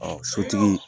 Ɔ sotigi